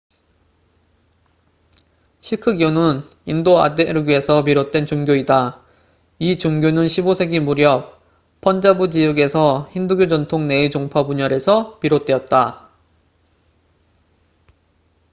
시크교는 인도 아대륙에서 비롯된 종교이다 이 종교는 15세기 무렵 펀자브 지역에서 힌두교 전통 내의 종파 분열에서 비롯되었다